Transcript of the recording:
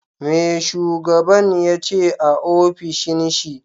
Me shugaban yace a ofishin shi?